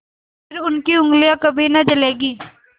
फिर उनकी उँगलियाँ कभी न जलेंगी